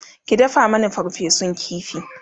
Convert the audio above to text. ki dafa Mani farfesun ƙifi!